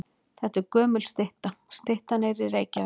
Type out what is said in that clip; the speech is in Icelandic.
Þetta er gömul stytta. Styttan er í Reykjavík.